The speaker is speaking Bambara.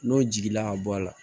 N'o jiginna ka bɔ a la